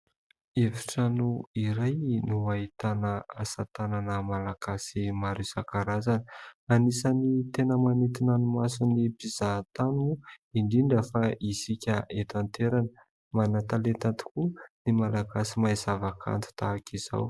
Efitrano iray no ahitana asatanana malagasy maro isakarazana, anisany tena manitona ny masony mpizaha-tany, indrindra fa isika eto an-toerana, manantalenta tokoa ny malagasy mahay zava-kanto tahaka izao.